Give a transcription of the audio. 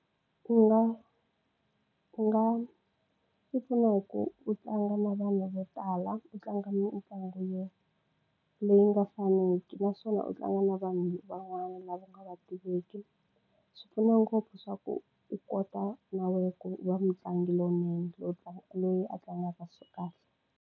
U nga u nga tipfuna hi ku u tlanga na vana vo tala u tlanga mitlangu yo leyi nga faniki naswona u tlanga na vanhu van'wana lava nga u va tiveki swi pfuna ngopfu swa ku u kota na wena ku va mutlangi lowunene lowu tlangaka loyi a tlangaka swa kahle.